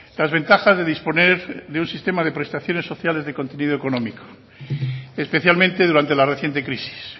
las ventajas de disponer de un sistema de prestaciones sociales de contenido económico especialmente durante la reciente crisis